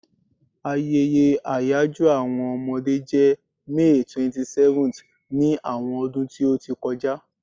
Ayeye àyajo àwọn Omode je May 27th ni àwọn ọdún ti o ti kọja